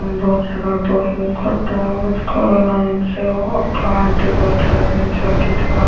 ଏ ବହୁତ ସାରା ବହି ଖଟ କିଛି ଖେଳନା ଜିନିଷ ଅଠା ଏମିତି ବହୁତ ସାରା ଜିନିଷ ଏଠି ଥୁଆ --